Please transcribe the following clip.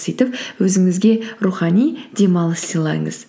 сөйтіп өзіңізге рухани демалыс сыйлаңыз